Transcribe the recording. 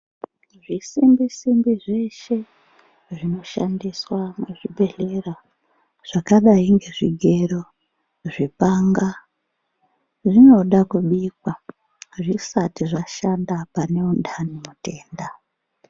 Zvisimbi-simbi zveshe zvinoshandiswa muzvibhedhlera, zvakadai ngezvigero, zvibanga, zvinoda kubikwa zvisati zvashanda pane antani, mutenda.